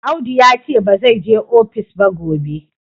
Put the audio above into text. Audu ya ce ba zai je ofis ba gobe.